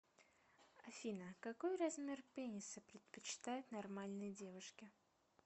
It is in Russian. афина какой размер пениса предпочитают нормальные девушки